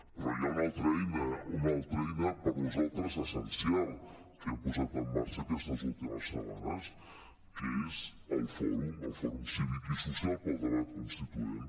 però hi ha una alta eina per nosaltres essencial que hem posat en marxa aquestes ultimes setmanes que és el fòrum el fòrum cívic i social pel debat constituent